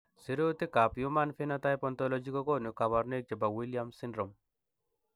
Sirutikab Human Phenotype Ontology kokonu koborunoikchu chebo Williams syndrome.